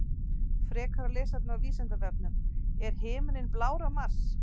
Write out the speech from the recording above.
Frekara lesefni á Vísindavefnum: Er himinninn blár á Mars?